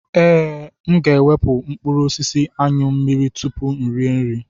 Ee, m ga-ewepụ mkpụrụ osisi Anyụ mmiri tupu iri nri.